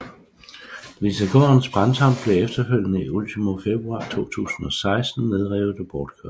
Lisegårdens brandtomt blev efterfølgende i ultimo februar 2016 nedrevet og bortkørt